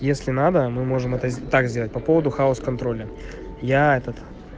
если надо мы можем это так сделать по поводу хаус-контроль я этот